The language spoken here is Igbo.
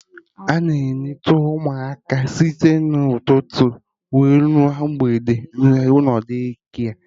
Ana eneta ụmụaka site na ụtụtụ ruo na mgbede n'ụlọ Daycare